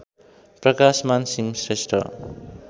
Prakashman Singh Shrestha